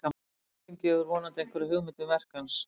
sú lýsing gefur vonandi einhverja hugmynd um verk hans